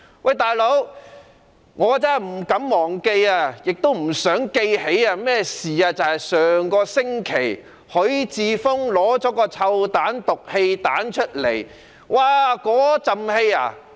"老兄"，我真的不敢忘記，也不想記起一件事，即上星期許智峯議員投擲"臭彈"或"毒氣彈"，散發濃烈氣味。